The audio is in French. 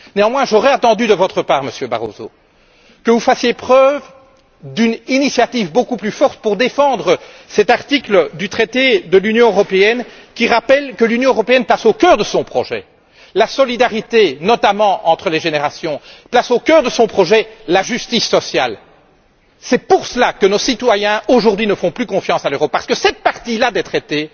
Néanmoins, Monsieur Barroso, j'aurais attendu de votre part que vous fassiez preuve d'une initiative beaucoup plus forte pour défendre cet article du traité de l'Union européenne qui rappelle que l'Union place au cœur de son projet la solidarité, notamment entre les générations, et la justice sociale. C'est pour cela que nos citoyens, aujourd'hui, ne font plus confiance à l'Europe, parce que cette partie là des traités,